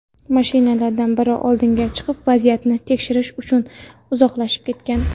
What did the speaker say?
Mashinalardan biri oldinga chiqib, vaziyatni tekshirish uchun uzoqlashib ketgan.